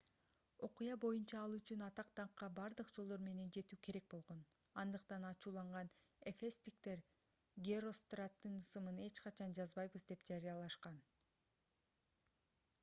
окуя боюнча ал үчүн атак-даңкка бардык жолдор менен жетүү керек болгон андыктан ачууланган эфестиктер геростраттын ысымын эч качан жазбайбыз деп жарыялашкан